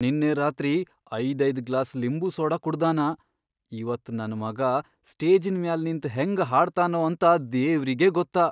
ನಿನ್ನೆ ರಾತ್ರಿ ಐದೈದ್ ಗ್ಲಾಸ್ ಲಿಂಬು ಸೋಡಾ ಕುಡ್ದಾನ, ಇವತ್ ನನ್ ಮಗಾ ಸ್ಟೇಜಿನ್ ಮ್ಯಾಲ್ ನಿಂತ್ ಹೆಂಗ ಹಾಡ್ತಾನೋ ಏನೋ ದೇವ್ರಿಗೇ ಗೊತ್ತ.